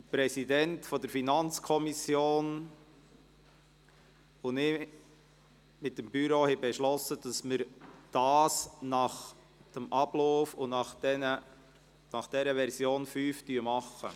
Der Präsident der FiKo und ich haben mit dem Büro beschlossen, dass wir nach dem Ablauf und der Version 5 der Änderungsanträge vorgehen.